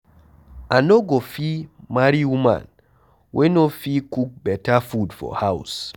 I no go fit marry woman wey no fit cook beta food for house.